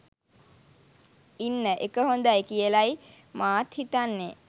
ඉන්න එක හොඳයි කියලයි මාත් හිතන්නේ